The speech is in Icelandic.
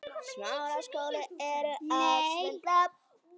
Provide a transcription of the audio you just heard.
Út með það!